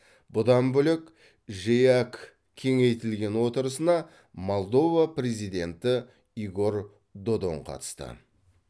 бұдан бөлек жеэк кеңейтілген отырысына молдова президенті игорь додон қатысты